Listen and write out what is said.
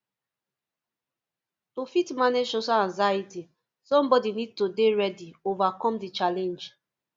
to fit manage social anxiety somebody need to dey ready overcome di challenge